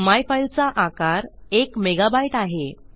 my file चा आकार एक मेगा बायट आहे